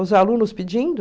Os alunos pedindo.